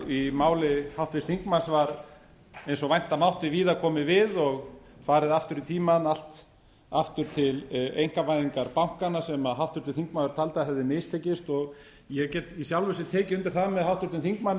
í máli háttvirts þingmanns var eins og vænta mátti víða komið við og farið aftur í tímann allt aftur til einkavæðingar bankanna sem háttvirtur þingmaður taldi að hefði mistekist og ég get í sjálfu sér tekið undir það með háttvirtum þingmanni